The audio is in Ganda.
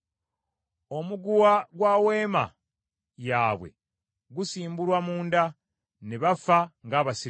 Omuguwa gwa weema yaabwe gusimbulwa munda, ne bafa ng’abasirusiru.’ ”